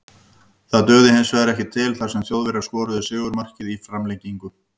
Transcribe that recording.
Það dugði hinsvegar ekki til þar sem Þjóðverjar skoruðu sigurmarkið í framlengingu.